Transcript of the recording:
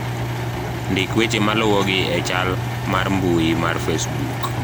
ndik weche maluwogi e chal mar mbui mar facebook